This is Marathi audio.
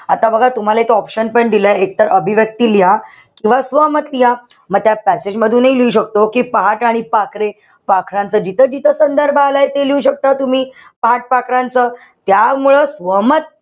आता बघा तुम्हाला इथं option पण दिलाय. एक तर अभिव्यक्ती लिहा. किंवा स्वमत लिहा. म त्यात passage मधूनही लिहू शकतो कि पहाट आणि पाखरे. पाखरांचा जिथं-जिथं संदर्भ आलाय ते लिहू शकता तुम्ही. पहाट पाखरांच. यामुळं स्वमत,